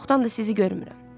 Çoxdandır sizi görmürəm.